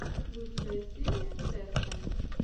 лучшая серия тэсфэн